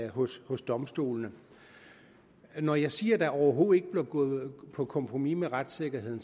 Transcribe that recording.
hos hos domstolene når jeg siger der overhovedet ikke bliver gået på kompromis med retssikkerheden